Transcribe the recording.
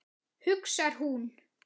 hugsar hún.